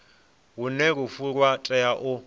hune lufu lwa tea u